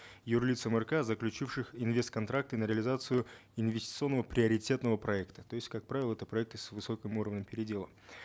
юр лицам рк заключившим инвест контракты на реализацию инвестиционного приоритетного проекта то есть как правило это проекты с высоким уровнем передела